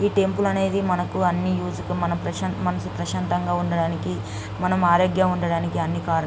ఈ టెంపుల్ అనేది మనకు అన్ని మనసు ప్రశాంతంగా ఉండడానికి మనం ఆరోగ్యంగా ఉండడానికి అన్ని కర్--